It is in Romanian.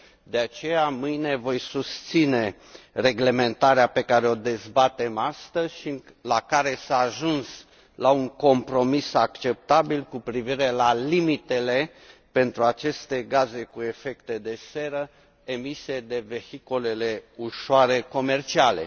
De aceea, mâine voi susține reglementarea pe care o dezbatem astăzi și în care s a ajuns la un compromis acceptabil cu privire la limitele pentru aceste gaze cu efect de seră emise de vehiculele ușoare comerciale.